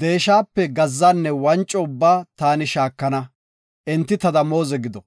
deeshape gazzanne wanco ubbaa taani shaakana, enti ta damooze gido.